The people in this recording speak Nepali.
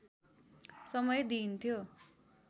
समय दिइन्थ्यो